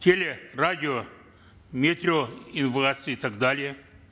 теле радио метео и так далее